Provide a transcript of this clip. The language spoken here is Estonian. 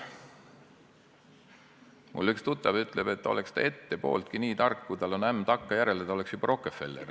Mul üks tuttav ütleb, et oleks ta ette pooltki nii tark, kui tal ämm on takkajärele, oleks ta juba Rockefeller.